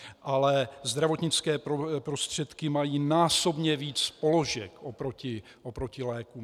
Ale zdravotnické prostředky mají násobně víc položek oproti lékům.